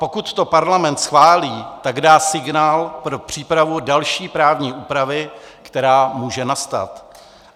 Pokud to Parlament schválí, tak dá signál pro přípravu další právní úpravy, která může nastat.